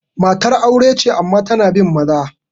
Matar aure ce amma tana bin maza.